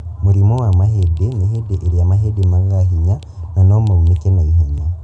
Mũrimũ wa mahindi nĩ hĩndĩ ĩrĩa mahĩndĩ magaga hinya na nomaunĩke ihenya